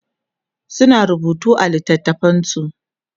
suna rubutu a littatafansu